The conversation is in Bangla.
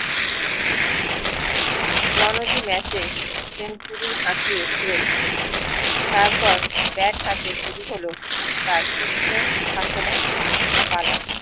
রনোজি ম্যাচে century হাকিয়ে ছিলেন শচীন তার পর ব্যাট হাতে শুরু হল তার বিশ্ব শাসনে পালা